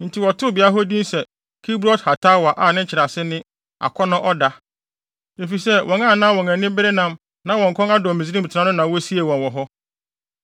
Enti wɔtoo beae hɔ din se Kibrot-Hataawa a nkyerɛase ne, “Akɔnnɔ ɔda” efisɛ wɔn a na wɔn ani bere nam na wɔn kɔn adɔ Misraim tena no na wosiee wɔn wɔ hɔ.